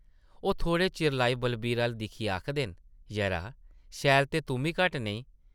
ओह् थोह्ड़े चिरा लेई बलवीर अʼल्ल दिक्खियै आखदे न, ‘‘यरा, शैल ते तुʼम्मी घट्ट नेईं।’’